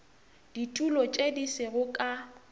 ditulo tše di sego ka